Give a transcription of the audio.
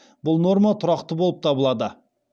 бұл норма тұрақты болып табылады